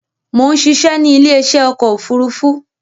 Mo ń ṣiṣẹ́ ni ile isẹ́ ọkọ̀ òfúrúúfú